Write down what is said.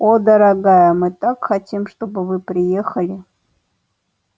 о дорогая мы так хотим чтобы вы приехали